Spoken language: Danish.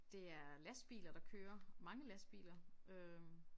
Det er lastbiler der kører mange lastbiler øh